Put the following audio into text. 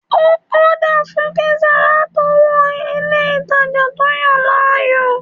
Ó ọ́dà fún píísà látọwọ́ ilé ìtanjẹ́ tó yàn láàyò